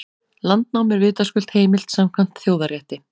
Landnám er vitaskuld heimilt samkvæmt þjóðarétti.